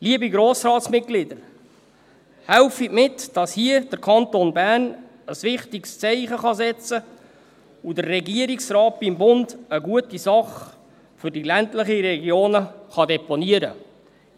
Helfen Sie mit, damit hier der Kanton Bern ein wichtiges Zeichen setzen und der Regierungsrat beim Bund eine gute Sache für die ländlichen Regionen deponieren kann.